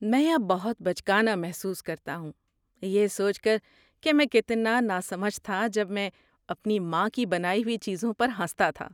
میں اب بہت بچکانہ محسوس کرتا ہوں یہ سوچ کر کہ میں کتنا نا سمجھ تھا جب میں اپنی ماں کی بنائی ہوئی چیزوں پر ہنستا تھا۔